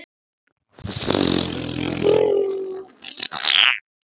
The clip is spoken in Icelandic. Þetta sama haust innritast hann í splunkunýjan og ilmandi